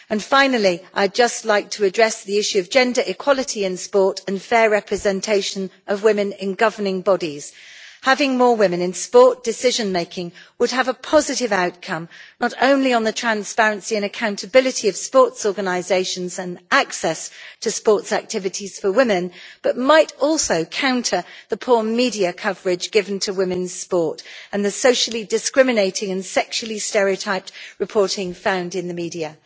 Finally, I'd like to address the issue of gender equality in sport and the fair representation of women in governing bodies having more women in sport decision-making would have a positive outcome, not only on the transparency and accountability of sports organisations and access to sports activities for women, but might also counter the poor media coverage given to women's sport and the socially discriminating and sexually stereotyped reporting found in the media.